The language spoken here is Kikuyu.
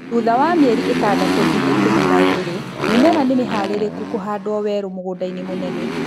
Thutha wa mĩeri ĩtandatũ nginya ikũmi na ĩrĩ, mĩmera nĩ mĩharĩrĩku kũhandwo werũ mũgũndainĩ mũnene